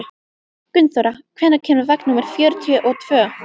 Gunnþóra, hvenær kemur vagn númer fjörutíu og tvö?